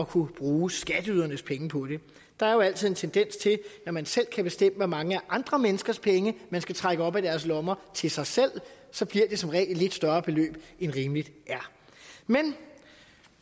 kunne bruge skatteydernes penge på det der er jo altid en tendens til at man selv kan bestemme hvor mange af andre menneskers penge man skal trække op af deres lommer til sig selv så bliver det som regel et lidt større beløb end rimeligt er men